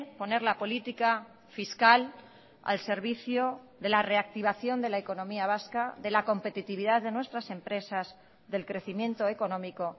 poner la política fiscal al servicio de la reactivación de la economía vasca de la competitividad de nuestras empresas del crecimiento económico